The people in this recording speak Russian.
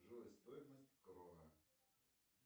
джой стоимость крона